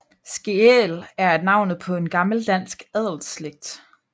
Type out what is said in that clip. Skeel er navnet på en gammel dansk adelsslægt